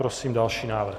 Prosím další návrh.